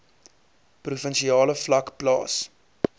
provinsiale vlak plaas